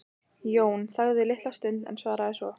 Jón þagði litla stund en svaraði svo